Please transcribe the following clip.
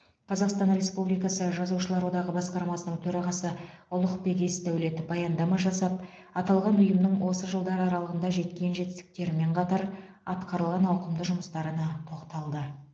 қазақстан республикасы жазушылар одағы басқармасының төрағасы ұлықбек есдәулет баяндама жасап аталған ұйымның осы жылдар аралығында жеткен жетістіктерімен қатар атқарылған ауқымды жұмыстарына тоқталды